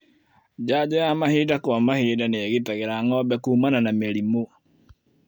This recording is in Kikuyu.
Janjo ya mahinda kwa mahinda nĩigitagira ngombe kumana na mĩrimũ.